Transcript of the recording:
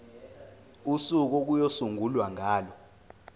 usuku okuyosungulwa ngalo